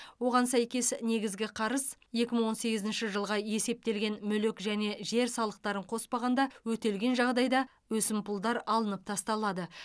оған сәйкес негізгі қарыз екі мың он сегізінші жылға есептелген мүлік және жер салықтарын қоспағанда өтелген жағдайда өсімпұлдар алынып тасталады